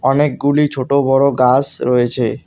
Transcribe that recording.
অনেকগুলি ছোট বড় গাস রয়েছে।